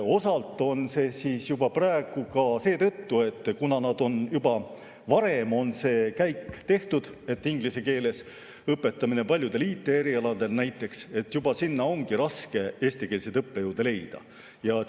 Osalt on see nii praegu ka seetõttu, et juba varem on tehtud see käik, et õpetatakse inglise keeles, paljudel IT‑erialadel näiteks, sinna ongi raske eestikeelseid õppejõude leida.